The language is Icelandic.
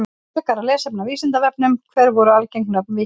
Frekara lesefni á Vísindavefnum: Hver voru algeng nöfn víkinga?